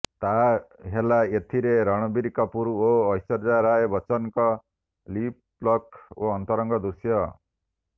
ତାହା ହେଲା ଏଥିରେ ରଣବୀର କପୁର ଓ ଐଶ୍ୱର୍ଯ୍ୟା ରାୟ ବଚ୍ଚନଙ୍କ ଲିପ୍ଲକ୍ ଓ ଅନ୍ତରଙ୍ଗ ଦୃଶ୍ୟ